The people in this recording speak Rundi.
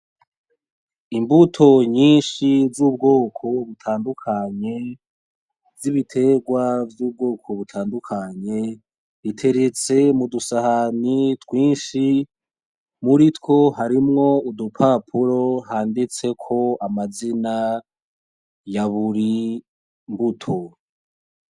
Imbuto nyinshi z'ubwoko butandukanye z'ibiterwa vy'ubwoko butandukanye, biteretse mudusahani rwinshi ,muritwo harimwo udupapuro handitseko amazina yaburi mbuto.